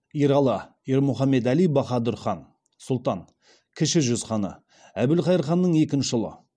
ералы ермүхамедәли баһадүр хан сұлтан кіші жүз ханы әбілқайыр ханның екінші ұлы